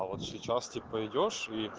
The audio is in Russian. а вот сейчас типо идёшь и